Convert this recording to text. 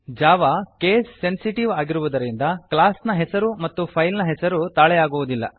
Java case sensitive ಆಗಿರುವುದರಿಂದ class ನ ಹೆಸರು ಮತ್ತು ಫೈಲ್ ನ ಹೆಸರು ತಾಳೆಯಾಗುವುದಿಲ್ಲ